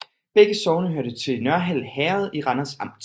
Begge sogne hørte til Nørhald Herred i Randers Amt